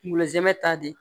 Kungolo zɛmɛ ta de